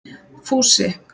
Fúsi